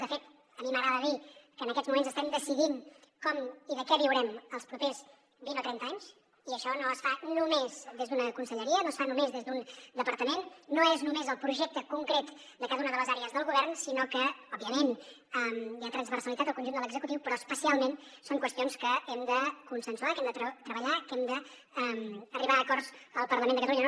de fet a mi m’agrada dir que en aquests moments estem decidint com i de què viurem els propers vint o trenta anys i això no es fa només des d’una conselleria no es fa només des d’un departament no és només el projecte concret de cada una de les àrees del govern sinó que òbviament hi ha transversalitat al conjunt de l’executiu però especialment són qüestions que hem de consensuar que hem de treballar que hem d’arribar a acords al parlament de catalunya